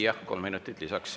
Jah, kolm minutit lisaks.